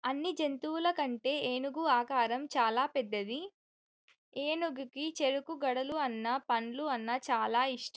అన్ని జంతువులకంటే ఏనుగు ఆకారం చాల పెద్దది ఏనుగుకు చెరుకు గడలు అన్న పండ్లు అన్న చాల ఇస్గటం.